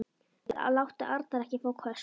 Góði Guð, láttu Arnar ekki fá köst.